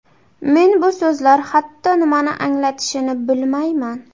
Men bu so‘zlar hatto nimani anglatishini bilmayman.